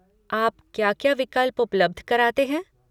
आप क्या क्या विकल्प उपलब्ध कराते हैं?